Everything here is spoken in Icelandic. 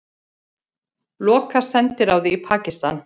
Loka sendiráði í Pakistan